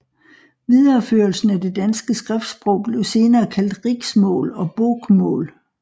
Videreførelsen af det danske skriftsprog blev senere kaldt riksmål og bokmål